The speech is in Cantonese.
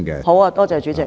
好的，多謝主席。